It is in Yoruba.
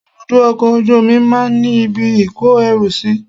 Ibùdó ọkọ̀ ojú omi máa ń ní ibi ìkó ẹrù sí.